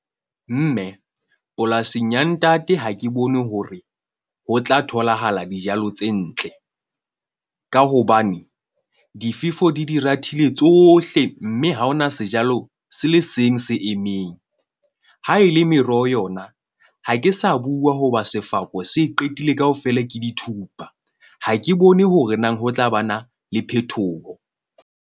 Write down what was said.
Mme polasing ya ntate, ha ke bone hore ho tla tholahala dijalo tse ntle, ka hobane difefo di di rathile tsohle. Mme ha ho na sejalo se le seng se emeng ha e le meroho yona. Ha ke sa bua hoba sefako se qetile kaofela ke dithupa. Ha ke bone hore na ho tla ba na le phethoho.